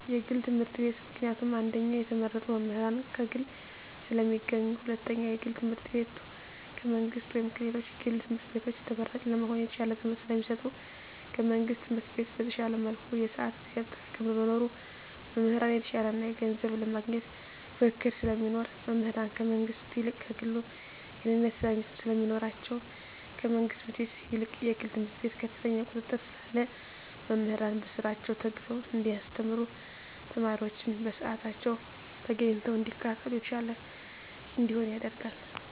የግል ትምህርት ቤት። ምክንያቱም አንደኛ የተመረጡ መምህራን ከግል ስለሚገኙ ሁለተኛ የግል ትምህርት ቤቱ ከመንግስት ወይም ከሌሎች የግል ትምህርት ቤቶች ተመራጭ ለመሆን የተሻለ ትምህርት ስለሚሰጡ። ከመንግስት ትምህርት ቤት በተሻለ መልኩ የስአት የጊዜ አጠቃቀም በመኖሩ። መምህራን የተሻለ ገንዘብ ለማግኘት ፉክክር ስለሚኖር። መምህራን ከመንግስት ይልቅ ከግሉ የእኔነት ስሜት ስለሚኖራቸዉ። ከመንግስት ትምህርት ቤት ይልቅ የግል ትምህርት ቤት ከፍተኛ ቁጥጥር ስላለ መምህራን በስራቸዉ ተግተዉ እንዲያስተምሩ ተማሪወችም በስአታቸዉ ተገኝተዉ እንዲከታተሉ የተሻለ እንዲሆን ያደርጋል።